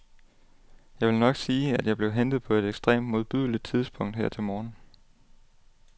Jeg vil nok sige, at jeg blev hentet på et ekstremt modbydeligt tidspunkt her til morgen.